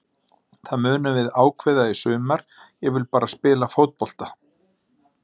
Það munum við ákveða í sumar, ég vil bara spila fótbolta.